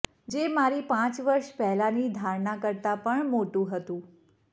જે મારી પાંચ વર્ષ પહેલાંની ધારણા કરતાં પણ મોટું હતું